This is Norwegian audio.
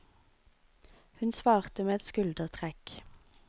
Hun svarte med et skuldertrekk.